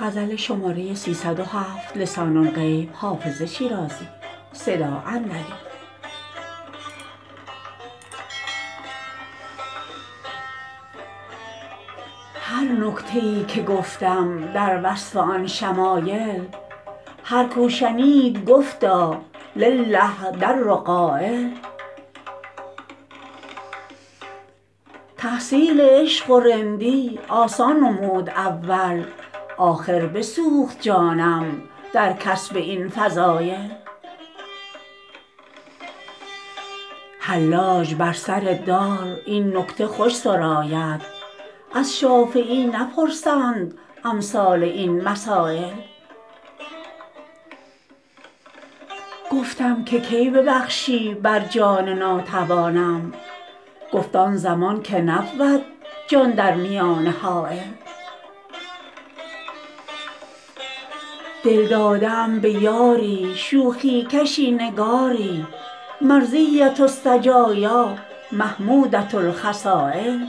هر نکته ای که گفتم در وصف آن شمایل هر کو شنید گفتا لله در قایل تحصیل عشق و رندی آسان نمود اول آخر بسوخت جانم در کسب این فضایل حلاج بر سر دار این نکته خوش سراید از شافعی نپرسند امثال این مسایل گفتم که کی ببخشی بر جان ناتوانم گفت آن زمان که نبود جان در میانه حایل دل داده ام به یاری شوخی کشی نگاری مرضیة السجایا محمودة الخصایل